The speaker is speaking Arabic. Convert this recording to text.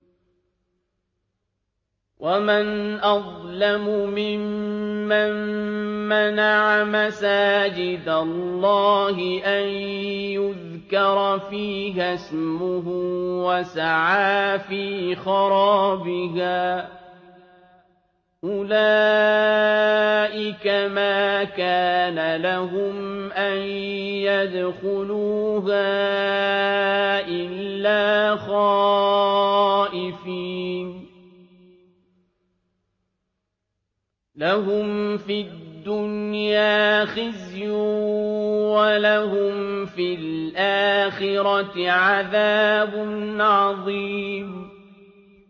وَمَنْ أَظْلَمُ مِمَّن مَّنَعَ مَسَاجِدَ اللَّهِ أَن يُذْكَرَ فِيهَا اسْمُهُ وَسَعَىٰ فِي خَرَابِهَا ۚ أُولَٰئِكَ مَا كَانَ لَهُمْ أَن يَدْخُلُوهَا إِلَّا خَائِفِينَ ۚ لَهُمْ فِي الدُّنْيَا خِزْيٌ وَلَهُمْ فِي الْآخِرَةِ عَذَابٌ عَظِيمٌ